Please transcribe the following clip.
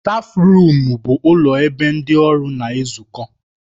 Stáfruum bụ ụlọ ebe ndị ọrụ na-ezukọ.